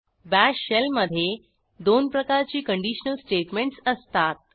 bash shell मधे दोन प्रकारची कंडिशनल स्टेटमेंटस असतात